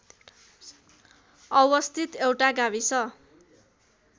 अवस्थित एउटा गाविस